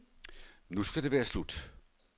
Nu skal det være slut.